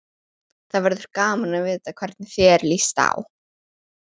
Það verður gaman að vita hvernig þér líst á.